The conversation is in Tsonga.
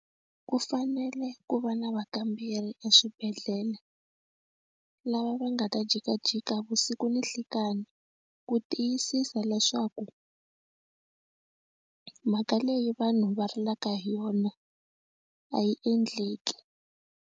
Ku fanele ku va na vakamberi eswibedhlele lava va nga ta jikajika vusiku na nhlikani ku tiyisisa leswaku mhaka leyi vanhu va rilaka hi yona a yi endleki.